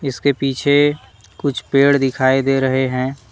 इसके पीछे कुछ पेड़ दिखाई दे रहे हैं।